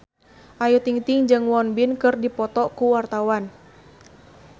Ayu Ting-ting jeung Won Bin keur dipoto ku wartawan